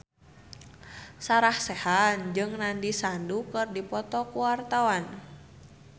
Sarah Sechan jeung Nandish Sandhu keur dipoto ku wartawan